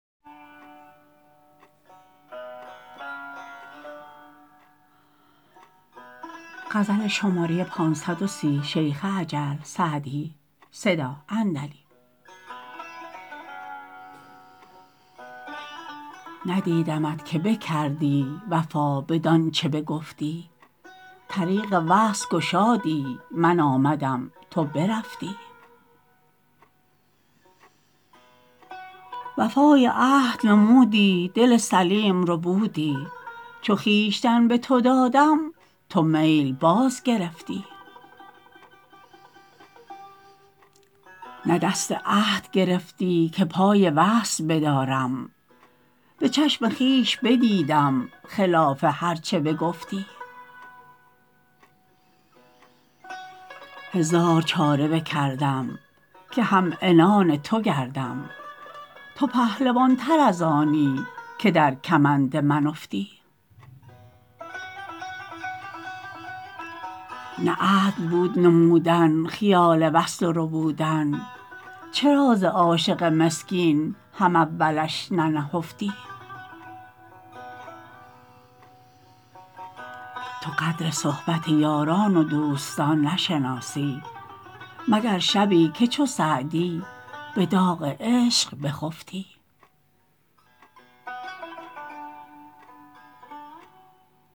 ندیدمت که بکردی وفا بدان چه بگفتی طریق وصل گشادی من آمدم تو برفتی وفای عهد نمودی دل سلیم ربودی چو خویشتن به تو دادم تو میل باز گرفتی نه دست عهد گرفتی که پای وصل بدارم به چشم خویش بدیدم خلاف هر چه بگفتی هزار چاره بکردم که هم عنان تو گردم تو پهلوان تر از آنی که در کمند من افتی نه عدل بود نمودن خیال وصل و ربودن چرا ز عاشق مسکین هم اولش ننهفتی تو قدر صحبت یاران و دوستان نشناسی مگر شبی که چو سعدی به داغ عشق بخفتی